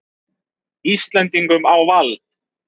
Íslendingum á vald.